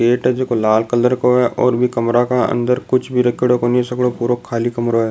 Gate है जेको लाल कलर को है और बि कमरा के अंदर कुछ भी रखेड़ो कोणी सगलो पुरो खाली कमरों है।